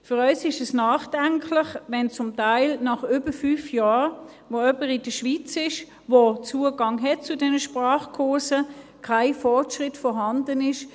Für uns ist es bedenklich, wenn zum Teil nach über fünf Jahren, während denen jemand den Zugang zu diesen Sprachkursen hat und in der Schweiz ist, kein Fortschritt vorhanden ist.